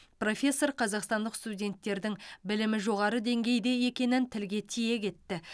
профессор қазақстандық студенттердің білімі жоғары деңгейде екенін тілге тиек етті